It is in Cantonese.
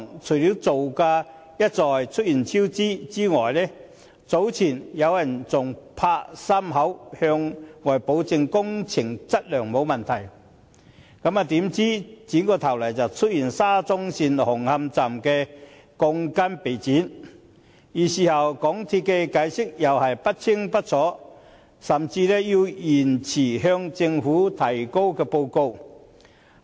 除了造價一再出現超支外，早前有人還"拍心口"向外保證工程質量沒有問題，怎料轉過頭來，便揭發沙中線紅磡站鋼筋被剪短，而事後港鐵公司的解釋又是不清不楚，甚至要延遲向政府提交報告。